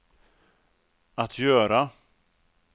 att göra